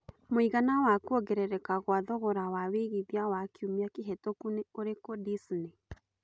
mũigana wa kũongerereka gwa thogora wa wĩigĩthĩa wa kĩumĩa kĩhetũku nĩ ũrikũ Disney